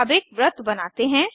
अब एक वृत्त बनाते हैं